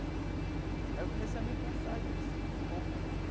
Aí eu comecei a me cansar disso um pouco.